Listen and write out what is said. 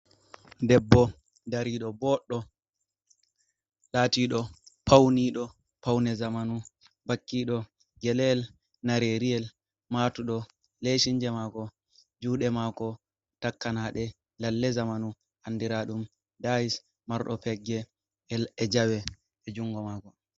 Dbbo, dari ɗo boɗɗo latiɗo pauniɗo paune zamanu, , bakkiɗo gelel nareryiel, matuɗo lesinje mako, juɗe mako takkanaɗe lalle zamanu, andiraɗum dayis, marɗo pegge e jawe e jungo mako.